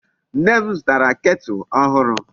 Nne m zutara kettle ohuru